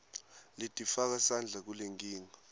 letifaka sandla kulenkinga